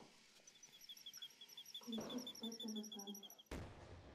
включи птвп